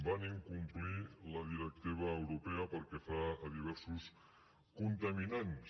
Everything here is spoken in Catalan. van incomplir la directiva europea pel que fa a diversos contaminants